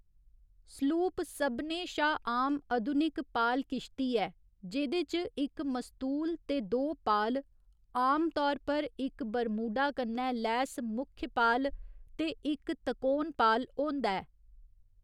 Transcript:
Sloop सभनें शा आम अधुनिक पाल किश्ती ऐ, जेह्दे च इक मस्तूल ते दो पाल, आमतौर पर इक बरमूडा कन्नै लैस मुख्यपाल ते इक तकोन पाल, होंदा ऐ।